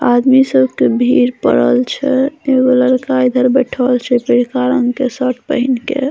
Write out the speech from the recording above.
आदमी सब के भीड़ पड़ल छै एगो लड़का इधर बइठल छै पियरका रंग के शर्ट पहिन के।